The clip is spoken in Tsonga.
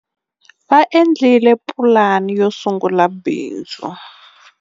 Va endlile pulani yo sungula bindzu.